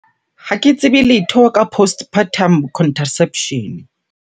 Ha ke tsebe letho ka postpartum contraception.